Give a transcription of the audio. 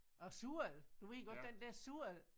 Og surl. Du ved godt den der surl